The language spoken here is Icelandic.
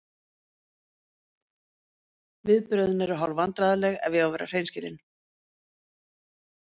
Viðbrögðin eru hálf vandræðaleg ef að ég á að vera hreinskilinn.